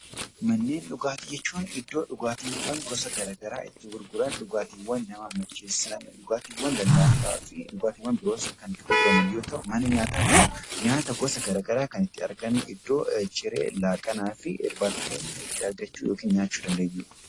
Manneen dhugaatii jechuun manneen dhugaatii garaagaraa itti gurguran, dhugaatiiwwan nama macheessan , dhugaatiiwwan lallaafaa fi dhugaatiiwwan biroos itti gurguraman yoo ta'u, mana nyaataa immoo nyaata gosa garaagaraa kan iddoo ciree, laaqanaa fi irbaata keenya itti argachuu yookaan nyaachuu dandeenyudha.